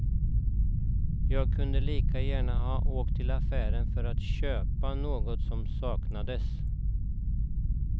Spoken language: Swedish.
Jag kunde lika gärna ha åkt till affären för att köpa något som saknades.